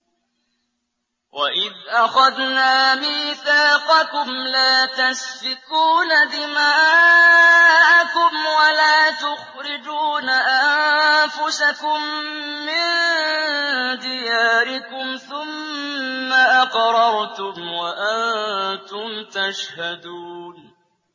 وَإِذْ أَخَذْنَا مِيثَاقَكُمْ لَا تَسْفِكُونَ دِمَاءَكُمْ وَلَا تُخْرِجُونَ أَنفُسَكُم مِّن دِيَارِكُمْ ثُمَّ أَقْرَرْتُمْ وَأَنتُمْ تَشْهَدُونَ